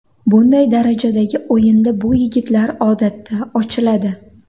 Bunday darajadagi o‘yinda bu yigitlar odatda ochiladi.